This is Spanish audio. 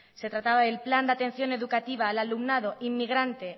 se trataba del plan de atención educativa al alumnado inmigrante